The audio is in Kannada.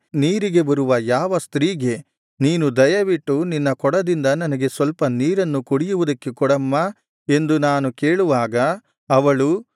ನೀರಿಗೆ ಬರುವ ಯಾವ ಸ್ತ್ರೀಗೆ ನೀನು ದಯವಿಟ್ಟು ನಿನ್ನ ಕೊಡದಿಂದ ನನಗೆ ಸ್ವಲ್ಪ ನೀರನ್ನು ಕುಡಿಯುವುದಕ್ಕೆ ಕೊಡಮ್ಮಾ ಎಂದು ನಾನು ಕೇಳುವಾಗ ಅವಳು